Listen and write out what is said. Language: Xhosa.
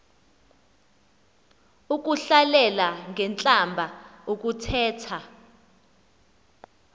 ukuhlalela ngentlamba ukuthetha